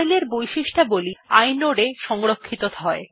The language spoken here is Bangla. ফাইল এর বৈশিষ্ট্যাবলী inode এ সংরক্ষিত হয়